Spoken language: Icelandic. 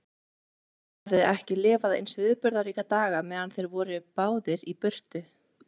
Mamma hafði ekki lifað eins viðburðaríka daga meðan þeir voru báðir í burtu.